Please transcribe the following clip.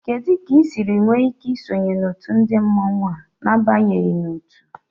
Kedu ka ị siri nwee ike isonye otu ndị mmọnwu a n'abanyeghị n'otu?